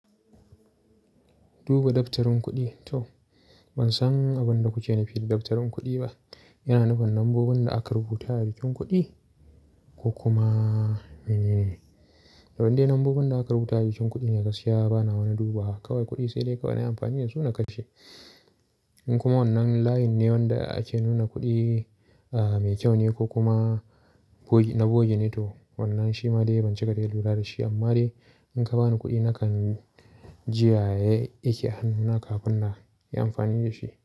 Duba daftarin kuɗi to? Ban san abin da kuke nufi da daftarin kuɗi ba. Yana nufin nambobin da aka rubuta a jikin kuɗi ko kuma mene ne? Toh in dai nambobin da aka rubuta a jikin kuɗi ne gaskiya bana wani duba. Kawai kuɗi sai dai ka wani amfani da shi na ka ci. In kuma wannan layin ne wanda ake nuna kuɗi, ah mai kyau ne ko kuma na bogi ne toh wannan shi ma dai ban cika dai lura da shi. Amma dai in ka bani kuɗi nakan ji yaya yake hannuna kafin na yi amfani da shi.